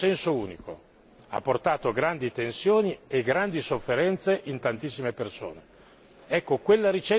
Il risanamento è stato a senso unico ha portato grandi tensioni e grandi sofferenze per tantissime persone.